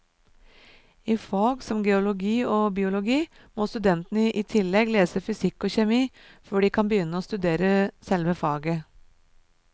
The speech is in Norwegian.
I fag som geologi og biologi må studentene i tillegg lese fysikk og kjemi før de kan begynne å studere selve faget.